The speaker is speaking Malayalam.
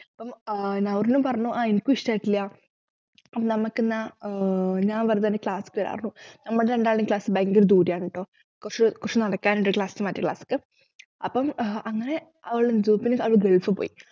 അപ്പൊ ആഹ് നൗറീനും പറഞ്ഞു ആഹ് എനിക്കും ഇഷ്ടായിട്ടില്ല നമ്മക്കെന്നാ ആഹ് ഞാൻ വെറുതെ അന്റെ class ക്ക് വരാപറഞ്ഞു നമ്മൾ രണ്ടാളുടെയും class ഭയങ്കര ദൂരെ ആണുട്ടോ കൊർച് കൊറച്ചു നടക്കാനുണ്ട് ഒരു class ന്നു മറ്റ class ക്ക് അപ്പം ആഹ് അങ്ങനെ അവള് അവള് ഗൾഫില്പോയി